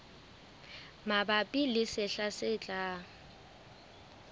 mabapi le sehla se tlang